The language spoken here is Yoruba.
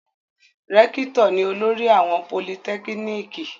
Rẹ́kítọ̀ ni olórí àwọn politẹ́kíníkì.